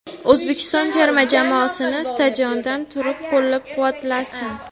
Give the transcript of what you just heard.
O‘zbekiston terma jamoasini stadiondan turib qo‘llab-quvvatlasin.